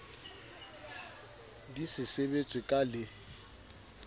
di se sebetswe ka le